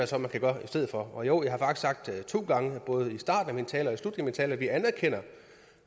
så kan gøre i stedet for og jo jeg har faktisk sagt det to gange både i starten af min tale og i slutningen tale at vi anerkender